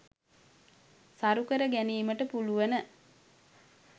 සරුකර ගැනීමට පුළුවන.